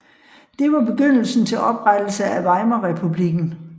Det var begyndelsen til oprettelse af Weimarrepublikken